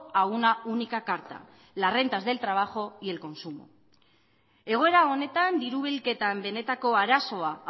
a una única carta las rentas del trabajo y el consumo egoera honetan diru bilketan benetako arazoa